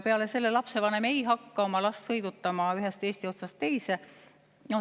Peale selle, lapsevanem ei hakka oma last sõidutama ühest Eesti otsast teise.